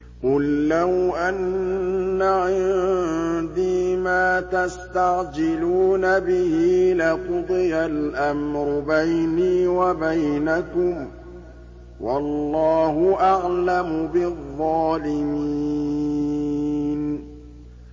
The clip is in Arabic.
قُل لَّوْ أَنَّ عِندِي مَا تَسْتَعْجِلُونَ بِهِ لَقُضِيَ الْأَمْرُ بَيْنِي وَبَيْنَكُمْ ۗ وَاللَّهُ أَعْلَمُ بِالظَّالِمِينَ